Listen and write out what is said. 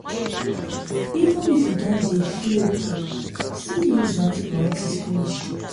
even if you don dey feel okay still use your antibiotics finish